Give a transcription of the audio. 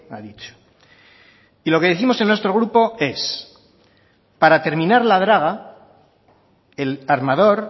ha dicho y lo que décimos en nuestro grupo es para terminar la draga el armador